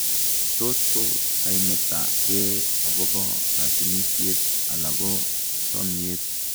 Tot ko kaimeta kee akobo katunisiet ala ko chomiet